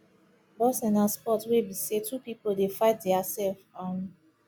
boxing na sport wey be sey two pipo dey fight their self um